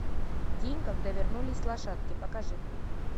день когда вернулись лошадки покажи